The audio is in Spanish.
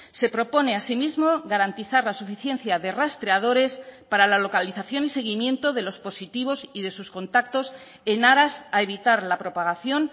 se propone asimismo garantizar la suficiencia de rastreadores para la localización y seguimiento de los positivos y de sus contactos en aras a evitar la propagación